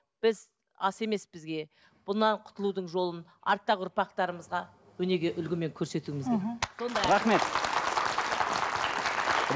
біз ас емес бізге бұдан құтылудың жолын арттағы ұрпақтарымызға өнеге үлгімен көрсетуіміз керек